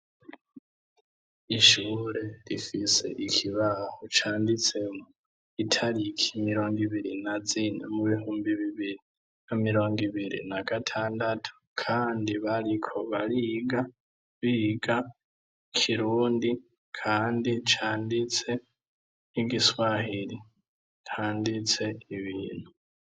Ishure rifise ikibaho canditsemwo italiki mirongi biri na zine mubihumbi bibiri na mirong' ibiri nagatandatu kandi bariko bariga biga ikirundi kandi canditse nk'igiswahiri handitse ibintu.